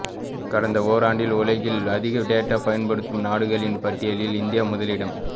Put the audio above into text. கடந்த ஓராண்டில் உலகில் அதிகம் டேட்டா பயன்படுத்தும் நாடுகளின் பட்டியலில் இந்தியா முதலிடம்